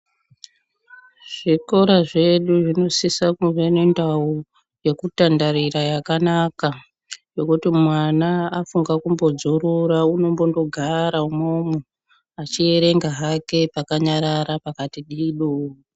Zvikora zvedu zvinosisa kunge nendau yekutandarira yakanaka yekuti mwana afunge kumbo dzoroora unogara umwomwo achierenga hake pakanyarara pakati dido .